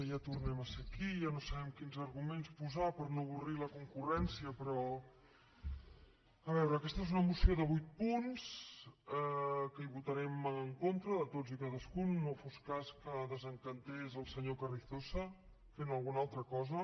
ja tornem a ser aquí ja no sabem quins arguments posar per no avorrir la concurrència però a veure aquesta és una moció de vuit punts que hi votarem en contra de tots i cadascun no fos cas que desencantés el senyor carrizosa fent alguna altra cosa